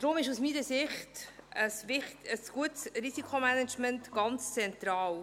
Deshalb ist aus meiner Sicht ein gutes Risikomanagement ganz zentral.